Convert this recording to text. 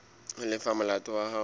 ho lefa molato wa hao